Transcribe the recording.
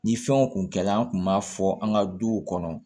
Ni fɛn o kun kɛlen an kun b'a fɔ an ka duw kɔnɔ